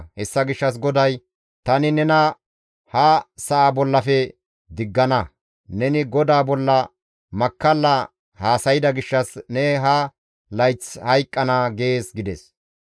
Hessa gishshas GODAY, ‹Tani nena ha sa7a bollafe diggana; neni GODAA bolla makkalla haasayda gishshas ne ha layth hayqqana› gees» gides.